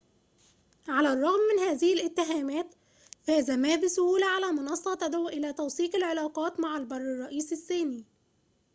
على الرغم من هذه الاتهامات فاز ما بسهولة على منصة تدعو إلى توثيق العلاقات مع البر الرئيسي الصيني